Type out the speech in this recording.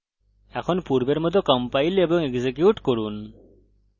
এখন পূর্বের মত compile এবং execute করুন